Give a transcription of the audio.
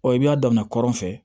Ɔ i y'a daminɛ kɔrɔn fɛ